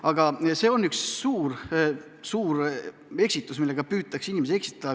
Aga see on üks suur eksitus, millega püütakse inimesi eksitada.